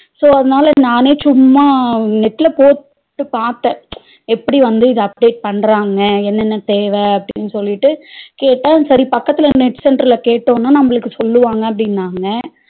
So அதனால நானே சும்மா net ல போட்டு பாத்த எப்பிடி வந்து இத apply பண்றாங்க என்னன தேவ அப்டினு சொல்லிட்டு கேட்ட சரி பக்கதுல net center ல கேட்டோம்ன நம்மளுக்கு சொல்லுவாங்க அப்டினாங்க